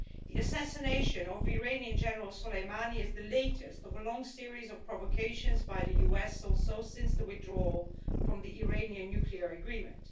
The assassination of Iranian General Soleimani is the latest in a long series of provocations by the United States since the withdrawal from the Iranian nuclear agreement.